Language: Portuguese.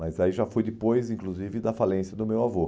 Mas aí já foi depois, inclusive, da falência do meu avô.